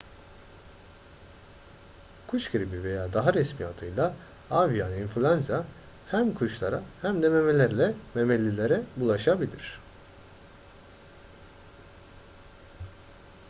kuş gribi veya daha resmi adıyla avian influenza hem kuşlara hem de memelilere bulaşabilir